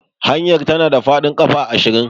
Hanyar tana da faɗin ƙafa ashirin.